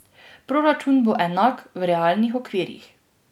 Proračun bo enak, v realnih okvirih.